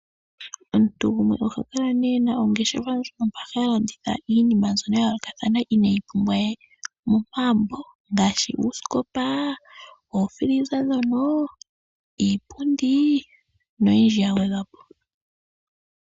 Omuntu gumwe ohakala nee ena ongeshefa moka talanditha iinima ya yoolokathana ineyi pumbwa we momagumbo ngaashi uusikopa ,ookila dhokutalaleka, iipundi noyindji ya gwedhwapo.